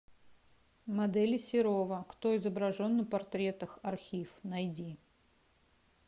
модели серова кто изображен на портретах архив найди